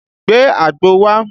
Gbe àgbo wá!